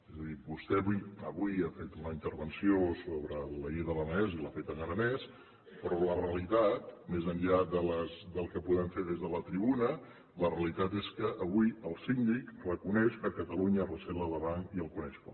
és a dir vostè avui ha fet una intervenció sobre la llei de l’aranès i l’ha feta en aranès però la realitat més enllà del que podem fer des de la tribuna és que avui el síndic reconeix que catalunya recela de l’aran i el coneix poc